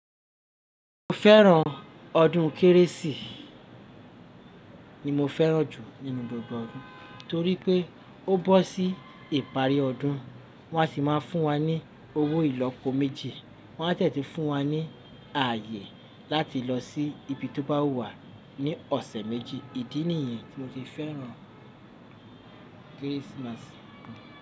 Mo fẹ́ràn ọdún kérésì ni mo fẹ́ràn jù nínú gbogbo ọdún torí pé ó bọ́ sí ìparí ọdún wọn a sì má a fún wa ní owó ìlọ́po méjì wọn a dẹ tun fún wa ní ààyè láti lọ sí ibi tó bá wù wá ní ọ̀sẹ̀ méjì ìdí nìyẹn tí mo fi fẹ́ràn Christmas.